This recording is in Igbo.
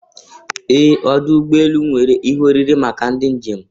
Ee! Ọdụ ụgbọ elu nwere ihe oriri maka ndị njem.